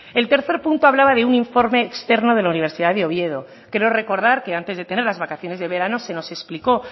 el tercer punto hablaba de un informe externo de la universidad de oviedo creo recordar que antes de tener las vacaciones de verano se nos explicó